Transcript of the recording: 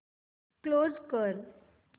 close कर